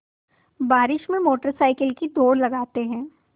बारिश में motorcycle की दौड़ लगाते हैं